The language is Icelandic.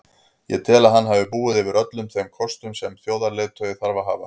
Ég tel að hann hafi búið yfir öllum þeim kostum sem þjóðarleiðtogi þarf að hafa.